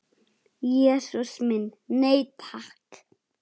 Jesús minn, nei takk.